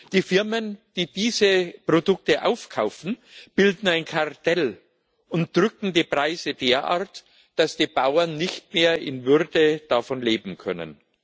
Die Firmen, die diese Produkte aufkaufen, bilden ein Kartell und drücken die Preise derart, dass die Bauern nicht mehr in Würde davon leben können.